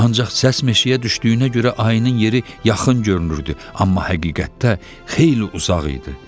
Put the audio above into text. Ancaq səs meşəyə düşdüyünə görə ayının yeri yaxın görünürdü, amma həqiqətdə xeyli uzaq idi.